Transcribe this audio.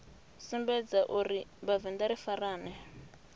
sumbedza uri vhavenḓa ri farane